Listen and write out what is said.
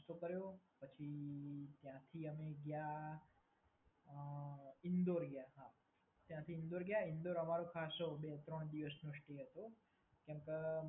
નાસ્તો કર્યો પછી ત્યાંથી અમ અમે ગયા ઈન્દોર ગયા, ત્યાંથી ઈન્દોર ગયા ઈન્દોર અમારો ખાસો બે-ત્રણ દિવસનો સ્ટે હતો